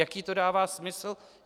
Jaký to dává smysl?